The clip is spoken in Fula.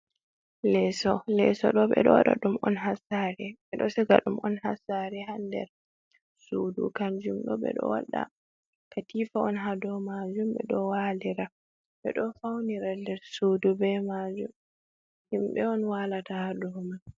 leso, leso do be do wada dum on hasare, be do siga dum on hassare ha nder sudu ,kanjum do be do wada katifa on ha do majum ,be do walira ,be do faunira nder sudu be majum, himbe on walata ha dou man.